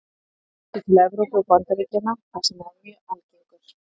Hann var einnig fluttur til Evrópu og Bandaríkjanna þar sem hann er mjög algengur.